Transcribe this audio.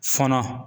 Fɔnɔ